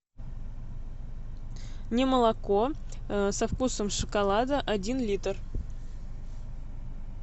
немолоко со вкусом шоколада один литр